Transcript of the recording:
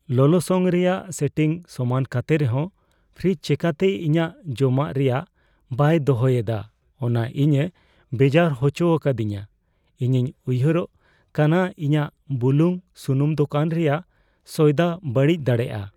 ᱞᱚᱞᱚᱥᱚᱝ ᱨᱮᱭᱟᱜ ᱥᱮᱴᱤᱝᱥ ᱥᱚᱢᱟᱱ ᱠᱟᱛᱮ ᱨᱮᱦᱚᱸ ᱯᱷᱨᱤᱡ ᱪᱤᱠᱟᱹᱛᱮ ᱤᱧᱟᱹᱜ ᱡᱚᱢᱟᱜ ᱨᱮᱭᱟᱲ ᱵᱟᱭ ᱫᱚᱦᱚᱭ ᱮᱫᱟ ᱚᱱᱟ ᱤᱧᱮ ᱵᱮᱡᱟᱨ ᱦᱚᱪᱚ ᱟᱠᱟᱫᱤᱧᱟᱹ ᱼᱤᱧᱤᱧ ᱩᱭᱦᱟᱹᱨᱚᱜ ᱠᱟᱱᱟ ᱤᱧᱟᱹᱜ ᱵᱩᱞᱩᱝᱼᱥᱩᱱᱩᱢ ᱫᱳᱠᱟᱱ ᱨᱮᱭᱟᱜ ᱥᱚᱭᱫᱟ ᱵᱟᱹᱲᱤᱡ ᱫᱟᱲᱮᱭᱟᱜᱼᱟ ᱾